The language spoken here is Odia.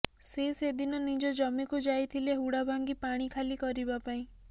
ସେ ସେଦିନ ନିଜ ଜମିକୁ ଯାଇଥିଲେ ହୁଡ଼ା ଭାଙ୍ଗି ପାଣି ଖାଲି କରିବାପାଇଁ